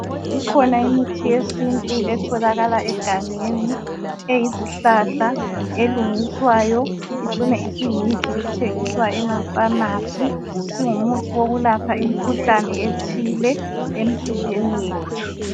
Ikhona imithi yesintu etholakala egangeni, eyizihlahla elungiswayo icine isiyimithi ethengiswa emapharmacy singumuthi wokulapha imikhuhlane ethile emizimbeni yethu.